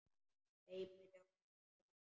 Hleypur í áttina að sjónum.